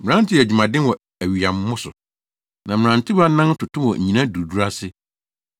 Mmerante yɛ adwumaden wɔ awiyammo so; na mmerantewa nan toto wɔ nnyina duruduru ase.